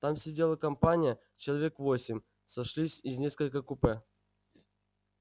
там сидела компания человек восемь сошлись из нескольких купе